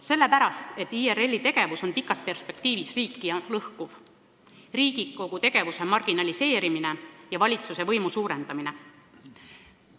Sellepärast, et IRL-i tegevus on pikas perspektiivis riiki lõhkuv, suunatud Riigikogu tegevuse marginaliseerimisele ja valitsuse võimu suurendamisele.